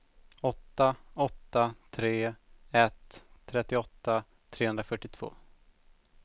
åtta åtta tre ett trettioåtta trehundrafyrtiotvå